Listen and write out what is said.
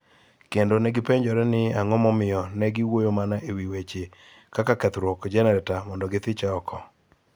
kendo ne gipenjore ni ang�o momiyo ne giwuoyo mana e wi weche kaka kethruok jenereta mondo githiche oko.